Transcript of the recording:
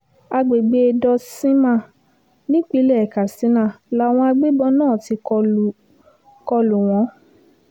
àgbègbè dutsinma nípìnlẹ̀ katsina làwọn agbébọ̀n náà ti kọ lù kọ lù wọ́n